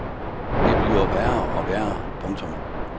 Det bliver værre og værre. punktum